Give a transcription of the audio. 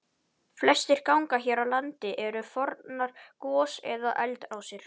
Flestir gangar hér á landi eru fornar gos- eða eldrásir.